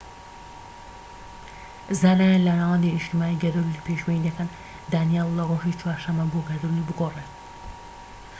زانایان لە ناوەندی نیشتمانی گەردەلوول پێشبینی دەکەن دانیێل لە ڕۆژی چوارشەممە بۆ گەردەلوول دەگۆڕێت